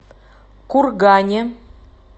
кургане